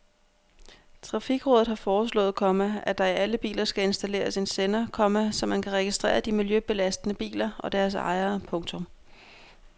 Trafikrådet har foreslået, komma at der i alle biler skal installeres en sender, komma så man kan registrere de miljøbelastende biler og deres ejere. punktum